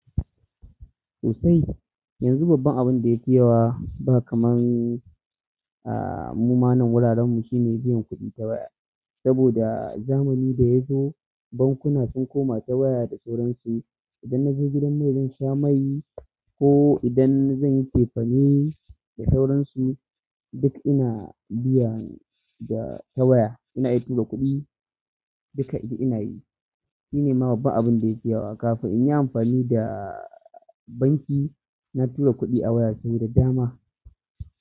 Sosai. Yanxun babban abunda ya fi yawa ba kaman muma nan wuraren mu shine biyan kuɗi ta waya. Saboda zamani da yazo ban kuna sun koma ta waya da sauransu. Idan na je gidan mai zan sha mai, ko idan zan yi cefane da sauransu duk ina biya ta waya. Ina iya tura kuɗi duka ina yi. Shine ma babban abin da yake yawa kafin in yi amfani da banki na tura kuɗi a waya ta waje da dama.